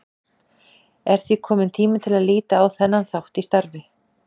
Er því kominn tími til að líta á þennan þátt í starfi